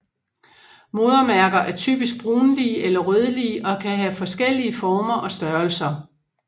Modermærker er typisk brunlige eller rødlige og kan have forskellige former og størrelser